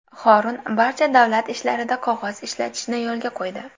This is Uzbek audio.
Horun barcha davlat ishlarida qog‘oz ishlatishni yo‘lga qo‘ydi.